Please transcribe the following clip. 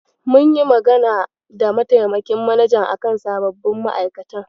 Mun yi magana da mataimakin manajan a kan sababbin ma'aikatan.